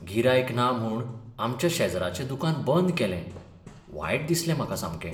गिरायक ना म्हूण आमच्या शेजराचें दुकान बंद केलें, वायट दिसलें म्हाका सामकें.